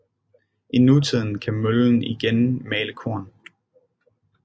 I nutiden kan møllen igen male korn